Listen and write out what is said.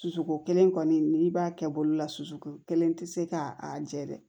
Suko kelen kɔni n'i b'a kɛ bolo la susuko kelen tɛ se ka a jɛ dɛ